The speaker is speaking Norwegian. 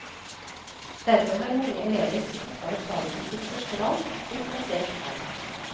Derfor har mange elever som ikke har faget som sitt første valg, blitt plassert her.